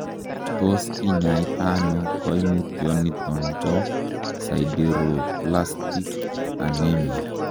Tos kinyaita ono koimutioniton bo sideroblastic anemia?